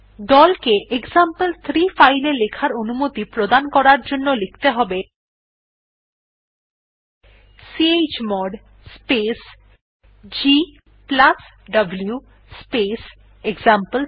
দল কে example three file এ লেখার অনুমতি প্রদান করার জন্য লিখতে হবে chmod space gw space example three